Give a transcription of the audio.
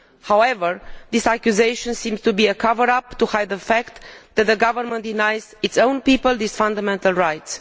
However, this accusation seems to be a cover up to hide the fact that the government is denying its own people this fundamental right.